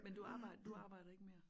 Men du arbejdede du arbejdede ikke mere?